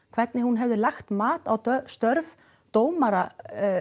hvernig hún hefði lagt mat á störf dómara